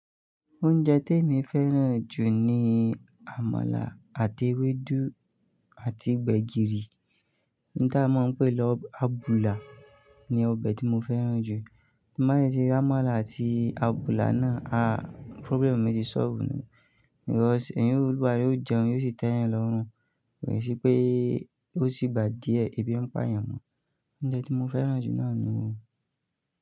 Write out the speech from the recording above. Oúnjẹ tí èmi fẹ́ràn jù ni àmàlà àti ewédú àti gbẹ̀gìrì ta máa ń pè lọ́ abùlà ni ọbẹ̀ tí mo fẹ́ràn jù. Má de tí rí àmàlà àti abùlà náà, problem mi ti solve nù, because èyí olúwa rè, ó jẹun, yóò sì tẹ́ èyàn lọ́rùn, rẹ̀ sí pé ó sì gba díẹ̀ ebi ń pá yàn mọ. Oúnjẹ tí mo fẹ́ràn jù náà ni wọ́n.